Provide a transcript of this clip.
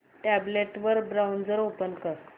tablet वर browser open कर